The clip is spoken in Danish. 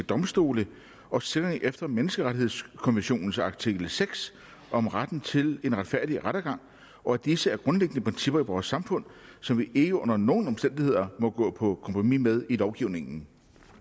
domstole og sikring efter menneskerettighedskonventionens artikel seks om retten til en retfærdig rettergang og at disse er grundlæggende principper i vores samfund som vi ikke under nogen omstændigheder må gå på kompromis med i lovgivningen